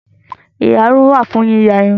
Ìyarun wà fún yíya irun